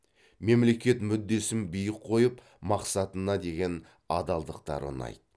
мемлекет мүддесін биік қойып мақсатына деген адалдықтары ұнайды